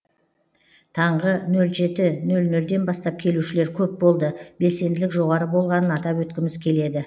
таңғы нөл жеті нөл нөлден бастап келушілер көп болды белсенділік жоғары болғанын атап өткіміз келеді